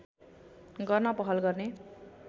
गर्न पहल गर्ने